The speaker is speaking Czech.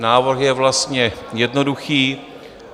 Návrh je vlastně jednoduchý.